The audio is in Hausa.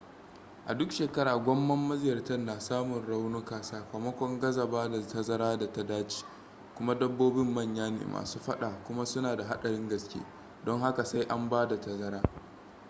a duk shekara gwamman maziyarta na samun raunuka sakamakon gaza bada tazara da ta dace kuma dabbobin manya ne masu fada kuma su na da hadarin gaske don haka sai an basu tazara